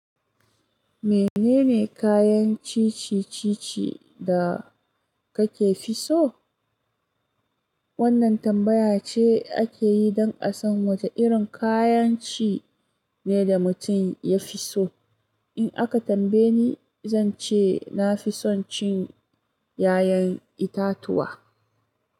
Menene kayan cici ci-ci da kake fi so? Wannan tambaya ce ake yi don a san wace irin kayan ci ne da mutum ya fi so. In aka tambaye ni, zan ce na fi son cin ƴaƴan itatuwa.